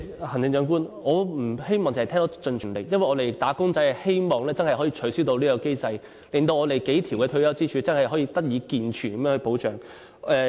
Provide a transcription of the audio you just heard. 行政長官，我不希望只是聽到"盡全力"，因為"打工仔"真的希望能取消此機制，令我們的數條退休支柱能提供健全保障。